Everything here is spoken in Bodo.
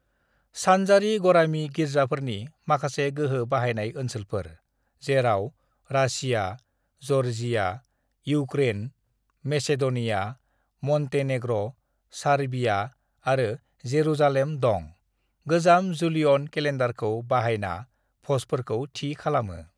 "सानजारि गरामि गिर्जाफोरनि माखासे गोहो बाहायनाय ओनसोलफोर, जेराव Russia, Georgia, Ukraine, Macedonia, Montenegro, Serbia आरो जेरुजालेम दं, गोजाम जूलियन केलेन्डारखौ बाहायना भजफोरखौ थि खालामो।"